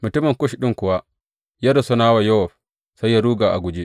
Mutumin Kush ɗin kuwa ya rusuna wa Yowab, sai ya ruga a guje.